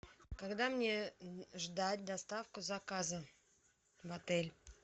когда мне ждать доставку заказа в отель